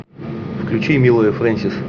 включи милая фрэнсис